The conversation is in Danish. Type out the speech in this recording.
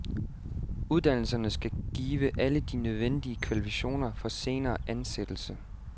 Uddannelserne skal give alle de nødvendige kvalifikationer for senere ansættelse.